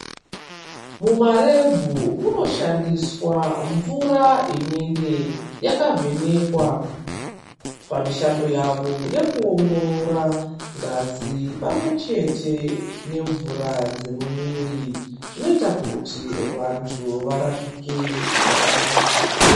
Muma rebhu muno shandiswa mvura inenge yaka vhenekwa pamishando yavo yeku ongorora ngazi pamwe chete ne mvura yemu mwiri zvinoita kuti vantu varapike zvakanaka.